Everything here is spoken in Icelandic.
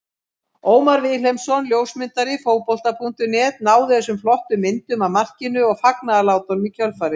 Ómar Vilhelmsson ljósmyndari Fótbolta.net náði þessum flottu myndum af markinu og fagnaðarlátunum í kjölfarið.